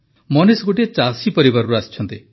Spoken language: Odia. ମନୀଷ ଜୀ ଗୋଟିଏ ଚାଷୀ ପରିବାରରୁ ଆସିଛନ୍ତି